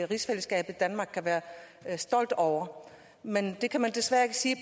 rigsfællesskabet danmark kan være stolt over men det kan man desværre ikke sige